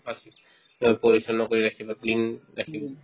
প~ পৰিচন্ন কৰি ৰাখিব clean ৰাখিব